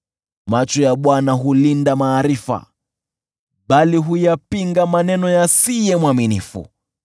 Macho ya Bwana hulinda maarifa, bali huyapinga maneno ya asiye mwaminifu.